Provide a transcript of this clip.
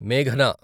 మేఘనా